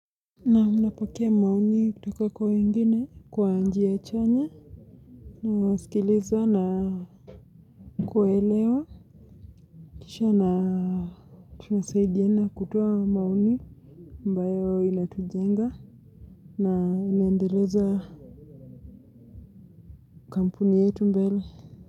Naam napokea maoni kutoka kwa wengine kwaanjia chanya nawasikiliza na kuelewa. Kisha na tunasaidiana kutowa maoni ambayo inatujenga na ineendeleza kampuni yetu mbele.